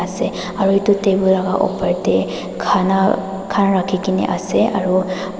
se aro edu table laka opor tae khana khan rakhi kaena ase aro.